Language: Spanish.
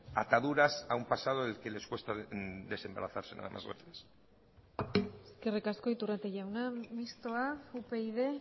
ataduras a un pasado en el que les cuesta desembarazarse nada más gracias eskerrik asko iturrate jauna mistoa upyd